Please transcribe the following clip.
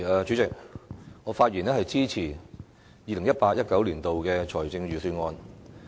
主席，我發言支持 2018-2019 年度的財政預算案。